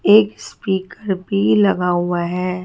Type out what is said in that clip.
एक स्पीकर भी लगा हुआ हैं।